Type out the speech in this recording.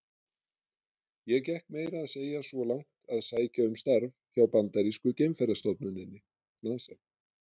Ég gekk meira að segja svo langt að sækja um starf hjá bandarísku geimferðastofnuninni, NASA.